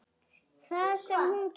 Það sem hún gerði: